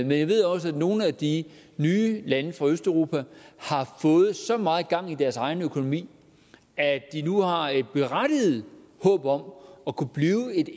jeg ved også at nogle af de nye lande fra østeuropa har fået så meget gang i deres egen økonomi at de nu har et berettiget håb om at kunne blive et